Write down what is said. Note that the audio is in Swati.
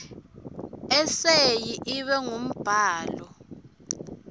eseyi ibe ngumbhalo